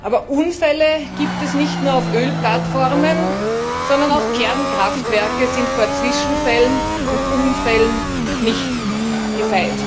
Aber Unfälle gibt es nicht nur auf Ölplattformen, sondern auch Kernkraftwerke sind vor Zwischenfällen und Unfällen nicht gefeit.